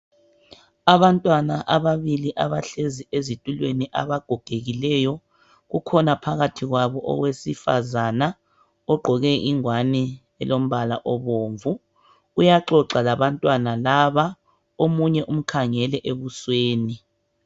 Abantwana ababili abahlezi ezitulweni abagogegileyo, kukhona phakathi kwabo owesifazana ogqoke ingowani elombala obomvu uyaxoxa labantwana laba omunye umkhangele ebusweni.